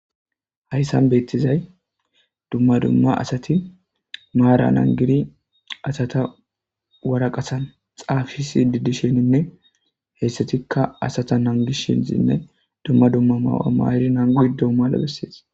Hayssan beettizay dumma dumma asati maara nangiri asata waraqatan xaapisi didisheninne heyssatikka asata nangis shinzinne dumma dumma maawa maari nangu de mala bessees